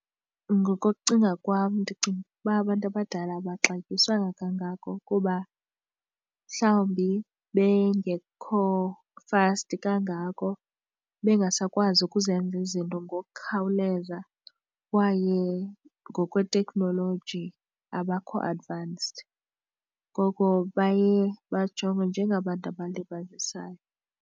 Ngokokucinga kwam ndicinga ukuba abantu abadala abaxatyiswanga kangako kuba mhlawumbi bengekho-fast kangako, bengasakwazi ukuzenza izinto ngokukhawuleza kwaye ngokwetekhnoloji abakho advanced. Ngoko baye bajongwe njengabantu abalibazisayo.